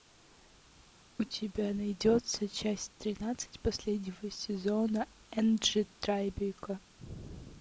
у тебя найдется часть тринадцать последнего сезона энджи трайбека